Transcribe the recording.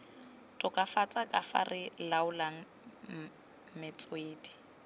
tokafatsa kafa re laolang metswedi